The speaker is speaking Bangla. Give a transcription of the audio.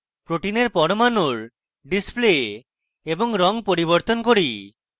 protein পরমাণুর display এবং রঙ পরিবর্তন করি